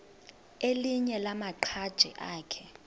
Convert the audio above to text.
elinye lamaqhaji akhe